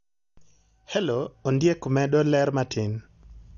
hello Ondiek medo ler matin